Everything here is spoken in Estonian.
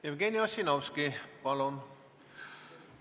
Jevgeni Ossinovski, palun!